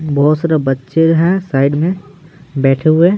बहुत सारे बच्चे हैं साइड में बैठे हुए--